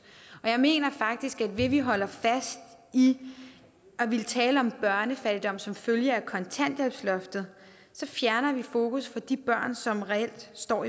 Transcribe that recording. og jeg mener faktisk at vi vi holder fast i at ville tale om børnefattigdom som følge af kontanthjælpsloftet fjerner fokus fra de børn som reelt står